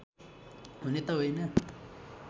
हुने त होइन